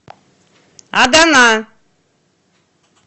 адана